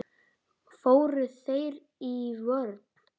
Fóru þeir í vörn?